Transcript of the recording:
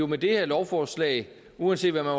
med det her lovforslag uanset hvad man